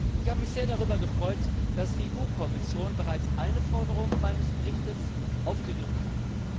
Ich habe mich sehr darüber gefreut, dass die EU Kommission bereits eine Forderung meines Berichts aufgegriffen hat.